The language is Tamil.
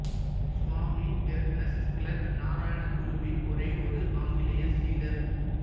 சுவாமி ஏர்னஸ்ட் கிளார்க் நாராயணகுருவின் ஒரே ஒரு ஆங்கிலேயச் சீடர்